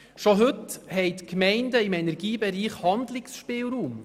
Bereits heute haben die Gemeinden im Energiebereich Handlungsspielraum.